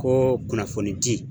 Ko kunnafonidi